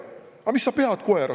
Aga mis sa pead koera?